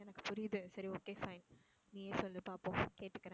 எனக்கு புரியுது சரி okay fine நீயே சொல்லு பாப்போம் கேட்டுக்குறேன்